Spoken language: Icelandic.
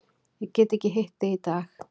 Ég get ekki hitt þig í dag.